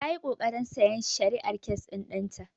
Ta yi ƙoƙarin sayan shari'ar kes ɗin ɗan ta.